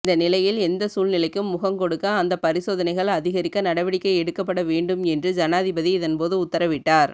இந்தநிலையில் எந்த சூழ்நிலைக்கும் முகங்கொடுக்க அந்த பரிசோதனைகள் அதிகரிக்க நடவடிக்கை எடுக்கப்படவேண்டும் என்று ஜனாதிபதி இதன்போது உத்தரவிட்டார்